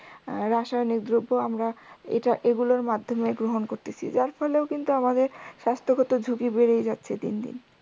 আহ রাসায়নিক দ্রব্য আমরা এটা এগুলোর মাধ্যমে গ্রহণ করতেসি যার ফলেও কিন্তু আমাদের স্বাস্থগত ঝুঁকি বেড়েই যাচ্ছে দিন দিন